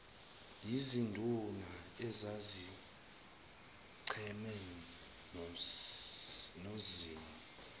yizinduna ezazicheme nozimu